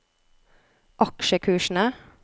aksjekursene